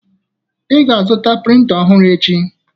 Ị ga-azụta printa ọhụrụ echi!